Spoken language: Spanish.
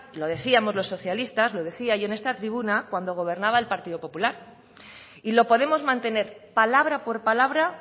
lo decíamos los socialistas lo decía yo en esta tribuna cuando gobernaba el partido popular y lo podemos mantener palabra por palabra